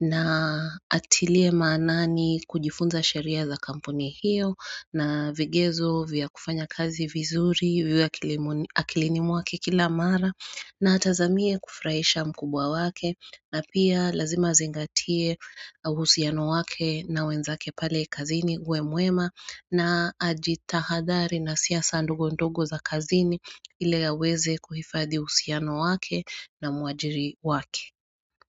na atilie maanani kujifunza sheria za kampuni hiyo na vigezo vya kufanya kazi vizuri vya akilini mwake kila mara na atazamie kufurahisha mkubwa wake na pia lazima azingatie uhusiano wake na wenzake pale kazini uwe mwema na ajitahadhari na siasa ndogo ndogo za kazini ile aweze kuhifadi uhusiano wake na muajiri wake.